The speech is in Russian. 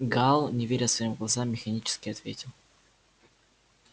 гаал не веря своим глазам механически ответил